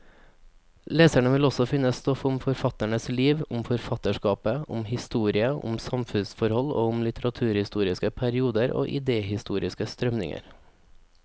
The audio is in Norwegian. Leserne vil også finne stoff om forfatternes liv, om forfatterskapet, om historie og samfunnsforhold, og om litteraturhistoriske perioder og idehistoriske strømninger.